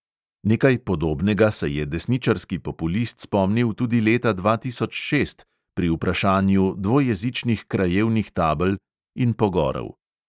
Nekaj podobnega se je desničarski populist spomnil tudi leta dva tisoč šest pri vprašanju dvojezičnih krajevnih tabel – in pogorel.